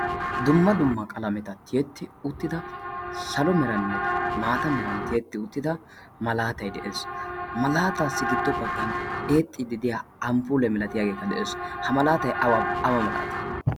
dumma dumma qalameta tiyetti uttida salo meranne maata meran tiyetti uttida malaatay de'ees. ha malaataassi giddo baggan eexxiidideya amufule milatiyaagekka de'ees. ha malaatay awa malaati